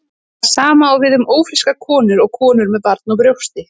Það sama á við um ófrískar konur og konur með barn á brjósti.